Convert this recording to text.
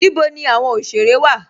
Níbò ní awọn oṣere wa?